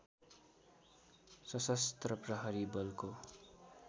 सशस्त्र प्रहरी बलको